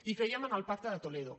i creiem en el pacte de toledo